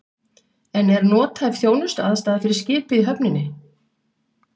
En er nothæf þjónustuaðstaða fyrir skipið í höfninni?